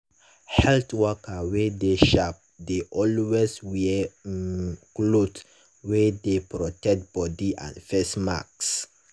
health worker wey sharp dey always wear um cloth wey dey protect body and face mask.